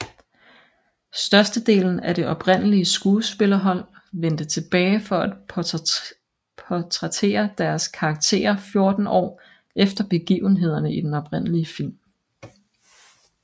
Størstedelen af det oprindelige skuespillerhold vendte tilbage for at portrættere deres karakterer 14 år efter begivenhederne i den oprindelige film